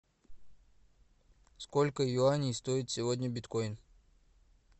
сколько юаней стоит сегодня биткоин